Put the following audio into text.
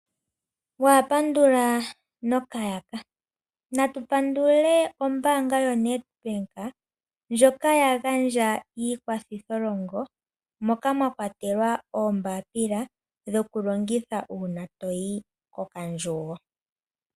Wapandula nokayaka natu pandule ombaanga yoNedbank ndjoka yagandja iikwathitholongo moka mwakwatelwa oombapila dhokulongitha una toyi ko kandjugo.